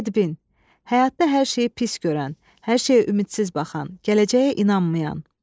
Bədbin, həyatda hər şeyi pis görən, hər şeyə ümidsiz baxan, gələcəyə inanmayan.